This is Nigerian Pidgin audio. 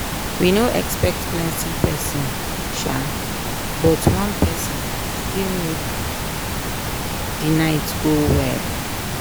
we no expect plenti person um but one person still make the night go well.